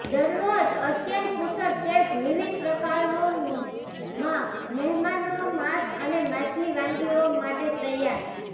દરરોજ અત્યંત કુશળ શેફ વિવિધ પ્રકારોનો માં મહેમાનો માંસ અને માછલી વાનગીઓ માટે તૈયાર